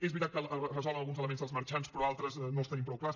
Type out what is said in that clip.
és veritat que es resolen alguns elements dels marxants però altres no els tenim prou clars